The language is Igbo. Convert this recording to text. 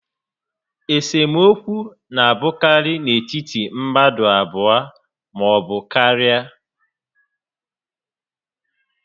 Esemokwu na a bụkarị n'etiti mmadụ abụọ maọbụ karịa